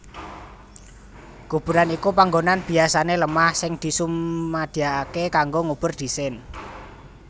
Kuburan iku panggonan biasané lemah sing disumadyakaké kanggo ngubur dhisin